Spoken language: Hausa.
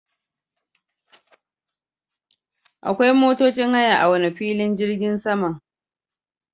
Akwai motocin haya a wane filin jirgin sama